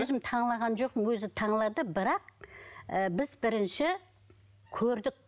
өзім жоқпын өзі бірақ ыыы біз бірінші көрдік